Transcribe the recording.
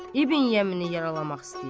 İbn Yəmini yaralamaq istəyir.